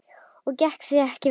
Og gekk það ekki vel.